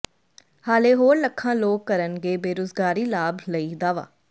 ਹਾਲੇ ਹੋਰ ਲੱਖਾਂ ਲੋਕ ਕਰਨਗੇ ਬੇਰੁਜ਼ਗਾਰੀ ਲਾਭ ਲਈ ਦਾਅਵਾ